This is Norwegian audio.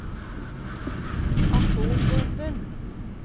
atombomben